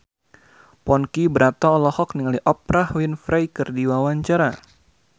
Ponky Brata olohok ningali Oprah Winfrey keur diwawancara